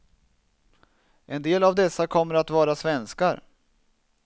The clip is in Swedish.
En del av dessa kommer att vara svenskar.